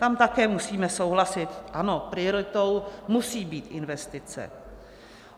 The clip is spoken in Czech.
Tam také musíme souhlasit, ano, prioritou musí být investice.